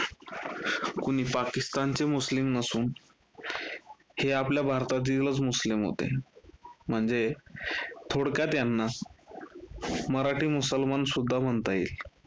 कुणी पाकिस्तानचे मुस्लिम नसुन हे आपल्या भारतातीलच मुस्लिम होते, म्हणजे थोडक्यात यांना मराठी मुसलमान सुद्धा म्हणता येईल.